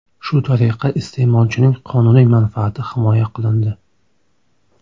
Shu tariqa iste’molchining qonuniy manfaati himoya qilindi.